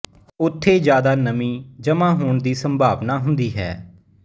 ਉੱਥੇ ਜਿਆਦਾ ਨਮੀ ਜਮਾਂ ਹੋਣ ਦੀ ਸੰਭਾਵਨਾ ਹੁੰਦੀ ਹੈ